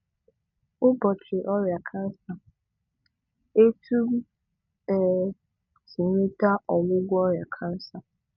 Ụbọchị ọrịa kansa: etu m um sị nweta ọgwụgwọ ọrịa kansa